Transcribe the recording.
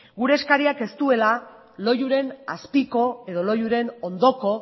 gure eskariak ez duela loiuren azpiko edo loiuren ondoko